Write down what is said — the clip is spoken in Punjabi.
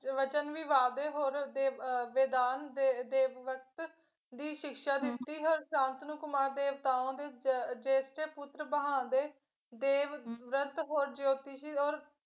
ਵਚਨ ਵੀ ਵਾਅਦੇ ਹੋਰ ਤੇ ਵੈਦਾਨ ਦੇ ਦੇਵਵਰਤ ਦੀ ਸਿਕਸ਼ਾ ਦਿੱਤੀ ਸ਼ਾਂਤਨੁਕੁਮਾਰ ਦੇ ਪੁੱਤਰ ਦੇਵਵਰਤ